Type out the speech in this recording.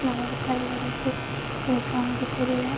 महाविद्यालय जबलपुर लिखा है दिखाई दे रहा है।